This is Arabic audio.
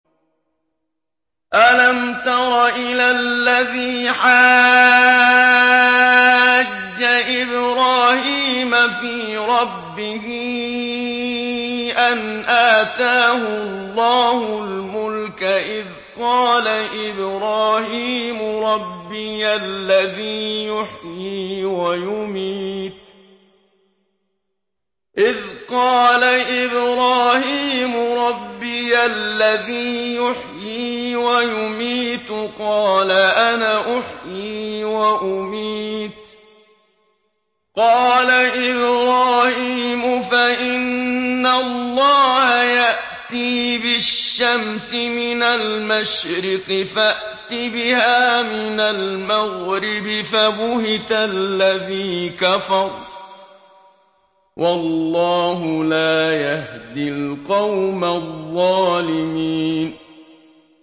أَلَمْ تَرَ إِلَى الَّذِي حَاجَّ إِبْرَاهِيمَ فِي رَبِّهِ أَنْ آتَاهُ اللَّهُ الْمُلْكَ إِذْ قَالَ إِبْرَاهِيمُ رَبِّيَ الَّذِي يُحْيِي وَيُمِيتُ قَالَ أَنَا أُحْيِي وَأُمِيتُ ۖ قَالَ إِبْرَاهِيمُ فَإِنَّ اللَّهَ يَأْتِي بِالشَّمْسِ مِنَ الْمَشْرِقِ فَأْتِ بِهَا مِنَ الْمَغْرِبِ فَبُهِتَ الَّذِي كَفَرَ ۗ وَاللَّهُ لَا يَهْدِي الْقَوْمَ الظَّالِمِينَ